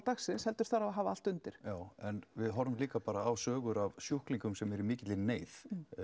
dagsins heldur þarf að hafa allt undir já en við horfum líka á sögur af sjúklingum sem eru í mikilli neyð